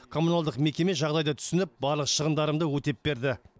коммуналдық мекеме жағдайды түсініп барлық шығындарымды өтеп берді